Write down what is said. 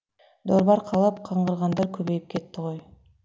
дорба арқалап қаңғығандар көбейіп кетті ғой